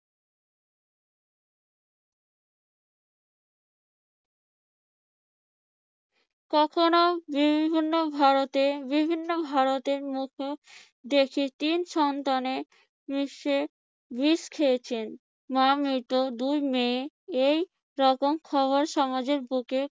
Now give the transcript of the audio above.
কখনো বিভিন্ন ভারতে বিভিন্ন ভারতীয়র মুখেও দেখি তিন সন্তানের বিষ খেয়েছেন। মা মৃ্ত দুই মেয়ে এইরকম খবর সমাজের বুকে